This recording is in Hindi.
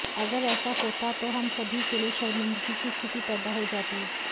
अगर ऐसा होता तो हम सभी के लिए शर्मिंदगी की स्थिति पैदा हो जाती